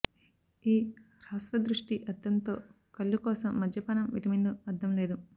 ఈ హ్రస్వదృష్టి అర్ధం తో కళ్ళు కోసం మద్యపానం విటమిన్లు అర్థం లేదు